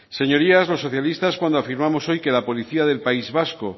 señorías los socialistas cuando afirmamos hoy que la policía del país vasco